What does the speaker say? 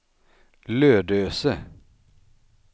Lödöse